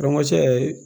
Rɔn ɛ cɛ